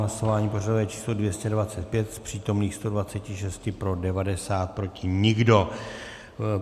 Hlasování pořadové číslo 225, z přítomných 126 pro 90, proti nikdo.